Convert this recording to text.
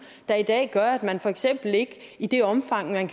der i dag gør at man for eksempel ikke i det omfang man